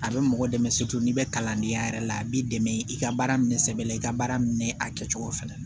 A bɛ mɔgɔ dɛmɛ n'i bɛ kalandenya yɛrɛ la a b'i dɛmɛ i ka baara minɛ sɛbɛ la i ka baara minɛ a kɛcogo fɛnɛ la